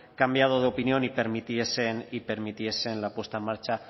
cambiado de opinión y permitiesen la puesta en marcha